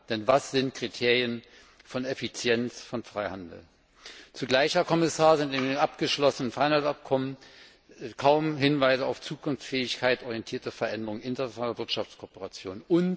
Denn was sind die Kriterien von Effizienz, von Freihandel? Zugleich, Herr Kommissar, sind in dem abgeschlossenen Freihandelsabkommen kaum Hinweise auf Zukunftsfähigkeit, orientierte Veränderung, internationale Wirtschaftskooperation.